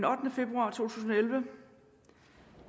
ottende februar to tusind og elleve